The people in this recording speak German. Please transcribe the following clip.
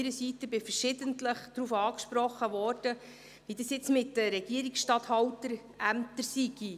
Ich wurde verschiedentlich darauf angesprochen, wie das mit den Regierungsstatthalterämtern jetzt sei.